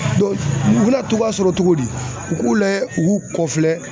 U bɛna togoya sɔrɔ cogo di u k'u layɛ u k'u kɔfilɛ.